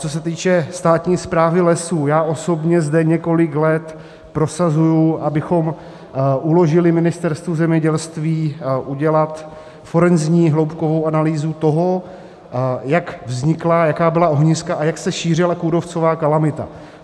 Co se týče státní správy lesů, já osobně zde několik let prosazuji, abychom uložili Ministerstvu zemědělství udělat forenzní hloubkovou analýzu toho, jak vznikla, jaká byla ohniska a jak se šířila kůrovcová kalamita.